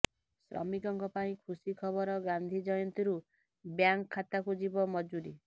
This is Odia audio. ଶ୍ରମିକଙ୍କ ପାଇଁ ଖୁସି ଖବର ଗାନ୍ଧି ଜୟନ୍ତୀରୁ ବ୍ୟାଙ୍କ୍ ଖାତାକୁ ଯିବ ମଜୁରୀ